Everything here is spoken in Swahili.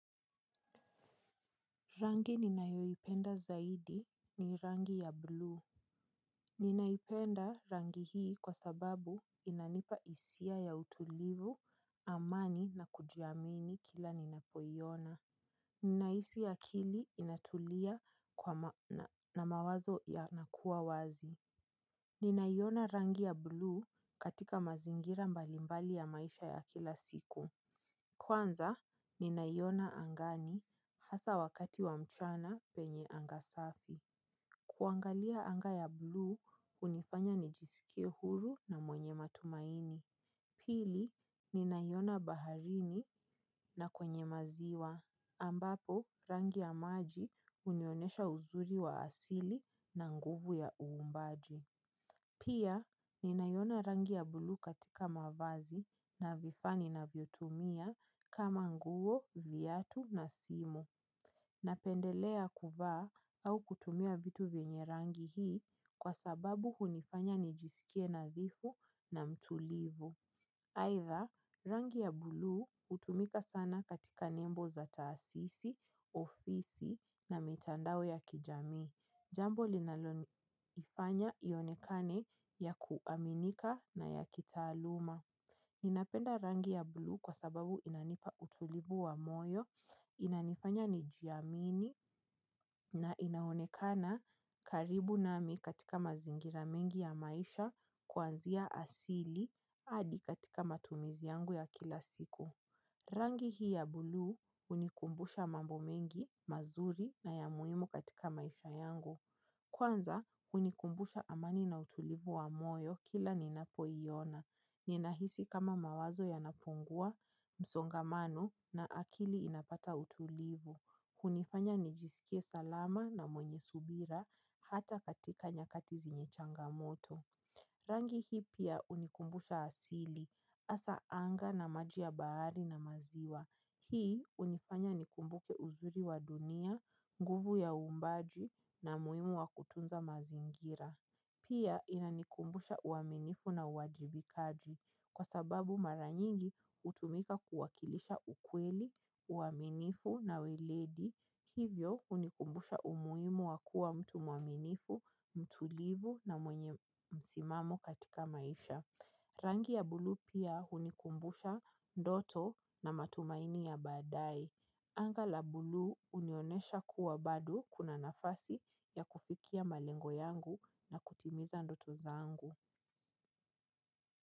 Rangi ninayoipenda zaidi ni rangi ya blue. Ninaipenda rangi hii kwa sababu inanipa hisia ya utulivu amani na kujiamini kila ninapoiona. Ninahisi akili inatulia na mawazo yanakuwa wazi. Ninaiona rangi ya blue katika mazingira mbalimbali ya maisha ya kila siku. Kwanza, ninaiona angani hasa wakati wa mchana penye anga safi. Kuangalia anga ya bluu, hunifanya nijisikie huru na mwenye matumaini. Pili, ninayona baharini na kwenye maziwa. Ambapo, rangi ya maji unionesha uzuri wa asili na nguvu ya uumbaji. Pia, ninaiona rangi ya bluu katika mavazi na vifaa ni navyotumia kama nguo, vyatu na simu. Napendelea kuva au kutumia vitu vyenye rangi hii kwa sababu hunifanya nijisikie nadhifu na mtulivu. Aitha, rangi ya blue hutumika sana katika nembo za taasisi, ofisi na mitandao ya kijamii. Jambo linaloifanya ionekane ya kuaminika na ya kitaaluma. Ninapenda rangi ya blue kwa sababu inanipa utulivu wa moyo, inanifanya nijiamini na inaonekana karibu nami katika mazingira mengi ya maisha kuanzia asili hadi katika matumizi yangu ya kila siku. Rangi hii ya blue hunikumbusha mambo mengi, mazuri na ya muhimu katika maisha yangu. Kwanza, hunikumbusha amani na utulivu wa moyo kila ninapoiona. Ninahisi kama mawazo yanapungua, msongamano na akili inapata utulivu. Hunifanya nijisikie salama na mwenye subira hata katika nyakati zenye changamoto. Rangi hii pia hunikumbusha asili, hasa anga na maji ya bahari na maziwa. Hii hunifanya nikumbuke uzuri wa dunia, nguvu ya uumbaji na umuhimu wa kutunza mazingira. Pia inanikumbusha uaminifu na uwajibikaji kwa sababu mara nyingi hutumika kuwakilisha ukweli, uaminifu na weledi. Hivyo hunikumbusha umuhimu wa kua mtu mwaminifu, mtulivu na mwenye msimamo katika maisha. Rangi ya blue pia hunikumbusha ndoto na matumaini ya baadae. Anga la blue hunionesha kuwa bado kuna nafasi ya kufikia malengo yangu na kutimiza ndoto zaangu.